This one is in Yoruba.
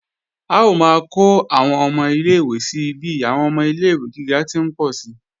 A ó máa kó àwọn ilé-ìwé si bí àwọn ọmọ ilé-ìwé gíga ti ń pọ̀ si